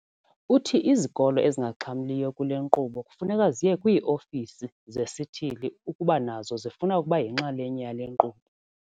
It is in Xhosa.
Uthi izikolo ezingaxhamliyo kule nkqubo kufuneka ziye kwii-ofisi zesithili ukuba nazo zifuna ukuba yinxalenye yale nkqubo.